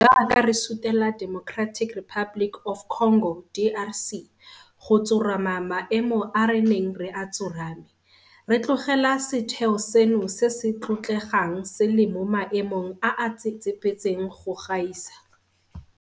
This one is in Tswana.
Jaaka re sutela Democratic Republic of Congo, DRC go tsorama maemo a re neng re a tsorame, re tlogela setheo seno se se tlotlegang se le mo maemong a a tsetsepetseng go gaisa.